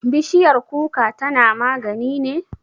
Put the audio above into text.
Bishiyar kuka tana magani ne?